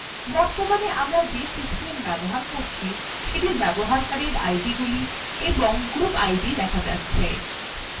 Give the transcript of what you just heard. বর্তমানে আমরা যে system ব্যবহার করছি সেটির ব্যবহারকারীদের আইডিগুলি এবং group idwe দেখা যাচ্ছে